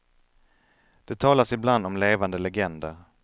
Det talas ibland om levande legender.